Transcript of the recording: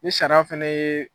Ni sariyaa fɛnɛ ye